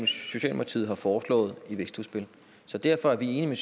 socialdemokratiet har foreslået i vækstudspil derfor er vi enige med